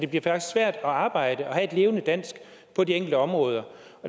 bliver svært at arbejde og have et levende dansk på de enkelte områder